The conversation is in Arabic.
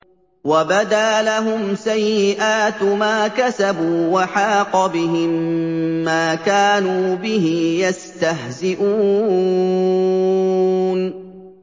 وَبَدَا لَهُمْ سَيِّئَاتُ مَا كَسَبُوا وَحَاقَ بِهِم مَّا كَانُوا بِهِ يَسْتَهْزِئُونَ